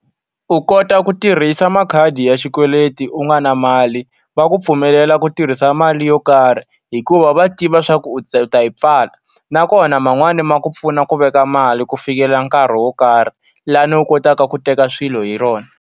U kota ku tirhisa makhadi ya xikweleti u nga ri na mali, va ku pfumelela ku tirhisa mali yo karhi. Hikuva va tiva leswaku u ta u ta yi pfala. Nakona man'wani ma ku pfuna ku veka mali ku fikela nkarhi wo karhi, laha u kotaka ku teka swilo hi rona.